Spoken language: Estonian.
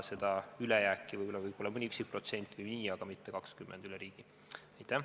Seda ülejääki võiks olla mõni üksik protsent või nii, aga mitte 20% üle riigi.